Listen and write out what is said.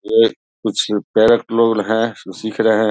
ये कुछ लोड हैं जो सीख रहे हैं।